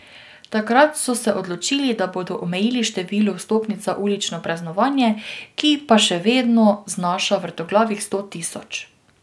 Takrat so se odločili, da bodo omejili število vstopnic za ulično praznovanje, ki pa še vedno znaša vrtoglavih sto tisoč.